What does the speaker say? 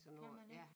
Kan man ik?